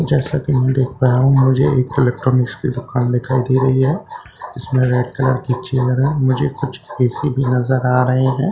जैसा की मैं देख पाया हूं मुझे एक इलेक्ट्रॉनिक्स की दुकान दिखाई दे रही है इसमें रेड कलर की चेहरा मुझे कुछ ए_सी भी नज़र आ रहे है ।